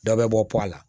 Dɔ bɛ bɔ pɔla la